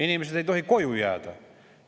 Inimesed ei tohi koju jääda.